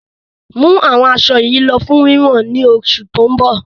Mú àwọn asọ yí lọ fún wíwọ̀n ni oṣù tó ń bọ̀!